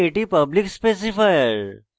এখানে এটি public specifier